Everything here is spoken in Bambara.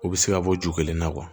U bɛ se ka bɔ ju kelen na